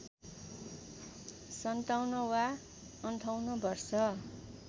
५७ वा ५८ वर्ष